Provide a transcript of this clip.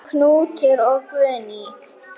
Knútur og Guðný.